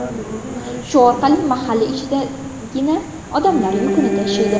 Shu orqali mahalla ichidagina odamlar yukini tashiydi.